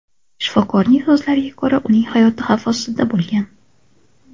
Shifokorning so‘zlariga ko‘ra, uning hayoti xavf ostida bo‘lgan.